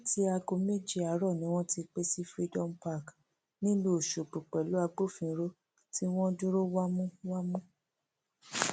láti aago méje àárọ ni wọn ti péjọ sí freedom park nílùú ọṣọgbó pẹlú àwọn agbófinró tí wọn dúró wámúwámú